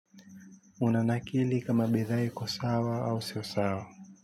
Unanakili kama bidhaa iko sawa au sio sawa.